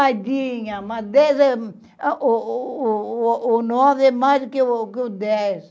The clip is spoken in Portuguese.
Ai dinha, mas dez é... Oooo nove é mais do que o dez.